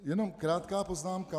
Jenom krátká poznámka.